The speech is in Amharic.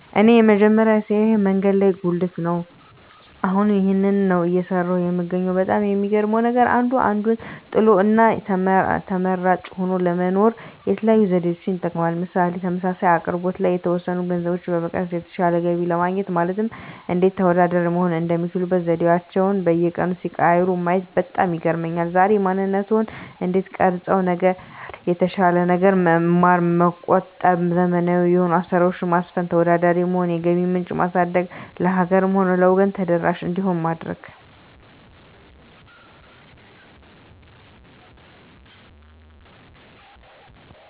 እኔ የመጀመሪያ ስራየ መንገድ ላይ ጉልት ነው አሁንም ይህንን ነው እየሰራሁ የምገኘው በጣም የሚገርመው ነገር አንዱ አንዱን ጥሎ እና ተመራጭ ሆኖ ለመኖር የተለያዩ ዘዴዎችን ይጠቀማል ምሳሌ ተመሳሳይ አቅርቦት ላይ የተወሰኑ ገንዘቦችን በመቀነስ የተሻለ ገቢ ለማግኘት ማለትም እንዴት ተወዳዳሪ መሆን የሚችሉበት ዘዴአቸዉን በየቀኑ ሲቀያይሩ ማየት በጣም ይገርመኛል ዛሬ ማንነትዎን እንዴት ቀረፀው ነገር የተሻለ ነገር መማር መቆጠብ ዘመናዊ የሆኑ አሰራሮች ማስፈን ተወዳዳሪ መሆን የገቢ ምንጭ ማሳደግ ለሀገርም ሆነ ለወገን ተደራሽ እንዲሆን ማድረግ